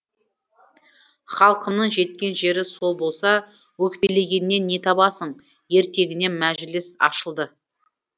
халқымның жеткен жері сол болса өкпелегеннен не табасың ертеңіне мәжіліс ашылды